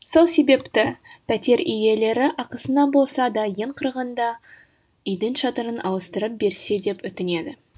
сол себепті пәтер иелері ақысына болса да ең құрғанда үйдің шатырын ауыстырып берсе деп өтінеді